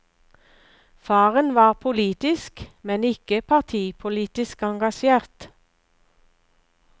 Faren var politisk, men ikke partipolitisk, engasjert.